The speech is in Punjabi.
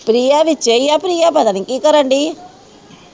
ਪ੍ਰਿਆ ਵਿਚੇ ਈਆ ਪ੍ਰਿਆ ਪਤਾ ਨਹੀਂ ਕੀ ਕਰਨ ਦੀ ਆ।